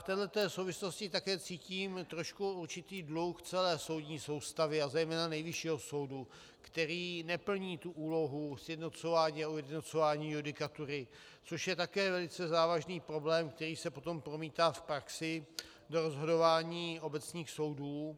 V této souvislosti také cítím trošku určitý dluh v celé soudní soustavě a zejména Nejvyššího soudu, který neplní tu úlohu sjednocování a ujednocování judikatury, což je také velice závažný problém, který se potom promítá v praxi do rozhodování obecných soudů